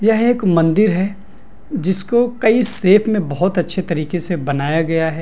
यह एक मंदिर है जिसको कई शेप में बहुत अच्छे तरीके से बनाया गया है।